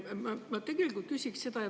Ma tegelikult küsin seda.